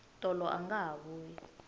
tolo anga ha vuyi